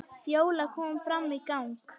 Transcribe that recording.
Fjóla kom fram í gang.